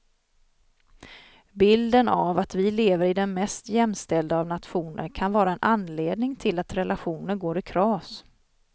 Bilden av att vi lever i den mest jämställda av nationer kan vara en anledning till att relationer går i kras.